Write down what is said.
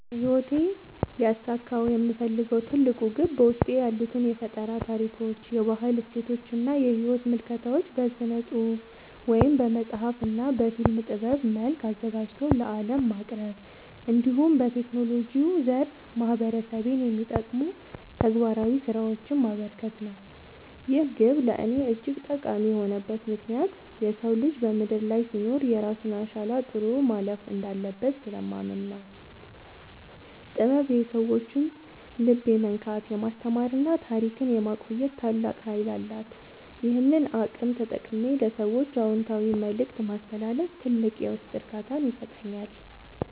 በሕይወቴ ሊያሳካው የምፈልገው ትልቁ ግብ በውስጤ ያሉትን የፈጠራ ታሪኮች፣ የባህል እሴቶችና የሕይወት ምልከታዎች በሥነ-ጽሑፍ (በመጽሐፍ) እና በፊልም ጥበብ መልክ አዘጋጅቶ ለዓለም ማቅረብ፣ እንዲሁም በቴክኖሎጂው ዘርፍ ማኅበረሰቤን የሚጠቅሙ ተግባራዊ ሥራዎችን ማበርከት ነው። ይህ ግብ ለእኔ እጅግ ጠቃሚ የሆነበት ምክንያት የሰው ልጅ በምድር ላይ ሲኖር የራሱን አሻራ ጥሎ ማለፍ እንዳለበት ስለማምን ነው። ጥበብ የሰዎችን ልብ የመንካት፣ የማስተማርና ታሪክን የማቆየት ታላቅ ኃይል አላት፤ ይህንን አቅም ተጠቅሜ ለሰዎች አዎንታዊ መልእክት ማስተላለፍ ትልቅ የውስጥ እርካታን ይሰጠኛል።